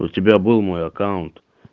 у тебя был мой аккаунт